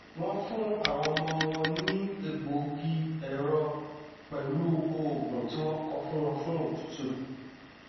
wọn fún àwọn ọmọ wọn ní egbògi ẹrọ pẹlú òògùn tí wọn kọ fún wọn fún otútù